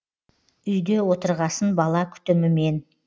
үйде отырғасын бала күтімімен